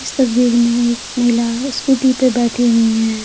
इस तस्वीर में एक महिला स्कूटी पर बैठी हुई हैं।